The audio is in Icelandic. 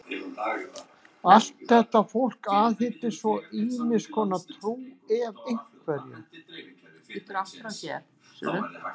Allt þetta fólk aðhyllist svo ýmiss konar trú, ef einhverja.